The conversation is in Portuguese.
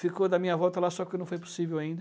Ficou da minha volta lá, só que não foi possível ainda.